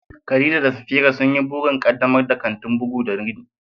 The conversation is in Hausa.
Khadija da Safira sun yi burin ƙaddamar da kantin bugu da rini